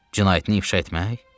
Cinayətini ifşa etmək?